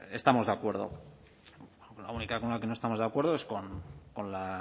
estamos de acuerdo la única con la que no estamos de acuerdo es con